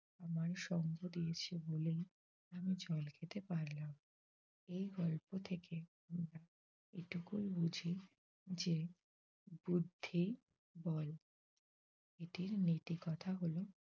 আমায় সঙ্গ দিয়েছে বলেই আমি জল খেতে পারলাম। এই গল্প থেকে আমরা এইটুকুই বুঝি যে বুদ্ধি বড় এটির নীতি কথা হল